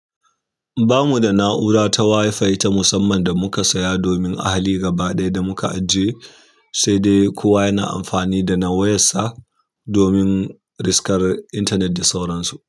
Ba mu da na'ura ta WiFi ta musamman da muka saya domin ahali gaba ɗaya da muka ajiye, sai dai kowa yana amfani da na wayarsa domin riskar intanet da sauransu.